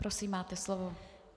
Prosím, máte slovo.